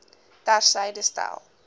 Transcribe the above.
ter syde stel